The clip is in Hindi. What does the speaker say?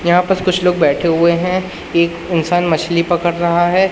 यहां पास कुछ लोग बैठे हुए हैं एक इंसान मछली पकड़ रहा है।